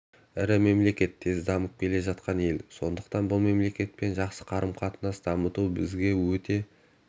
ірі мемлекет тез дамып келе жатқан ел сондықтан бұл мемлекетпен жақсы қарым-қатынас дамыту бізге өте